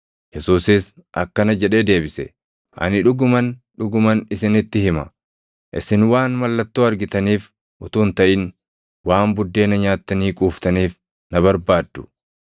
Yesuusis akkana jedhee deebise; “Ani dhuguman, dhuguman isinitti hima; isin waan mallattoo argitaniif utuu hin taʼin, waan buddeena nyaattanii quuftaniif na barbaaddu.